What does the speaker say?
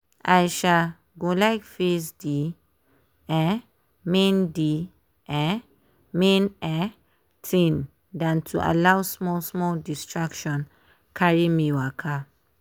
i um go like face dey um main dey um main um thing than to allow small small distraction carry me waka.